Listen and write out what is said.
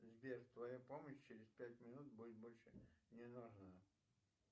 сбер твоя помощь через пять минут будет больше не нужна